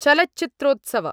चलच्चित्रोत्सव